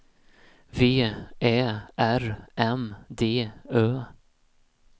V Ä R M D Ö